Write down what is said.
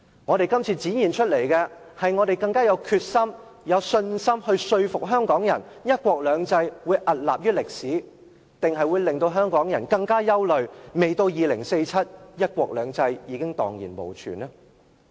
我們這次展現的，究竟是我們更具決心及信心說服香港人，"一國兩制"會屹立於歷史，還是會令香港人更憂慮，未到2047年，"一國兩制"已蕩然無存呢？